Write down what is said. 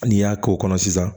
N'i y'a k'o kɔnɔ sisan